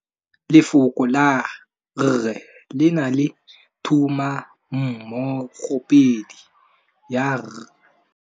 Lefoko la rre le na le tumammogôpedi ya, r.